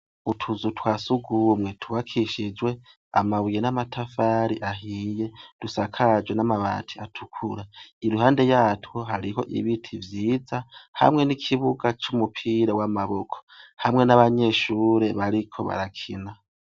Utuzu twa surwumwe twubakishijwe amabuye n'amatafari ahiye dusakajwe n'amabati atukura iruhande yatwo hariho ibiti vyiza hamwe n'ikibuga c'umupira w'amaboko hamwe n'abanyeshure bariko barakina.